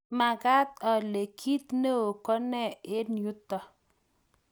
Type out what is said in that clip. manget ale kiit neoo ko ne eng yuto